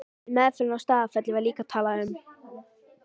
Í meðferðinni á Staðarfelli var líka talað um